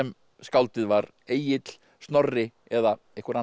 skáldið var Egill Snorri eða einhver annar